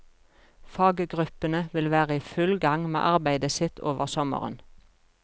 Faggruppene vil være i full gang med arbeidet sitt over sommeren.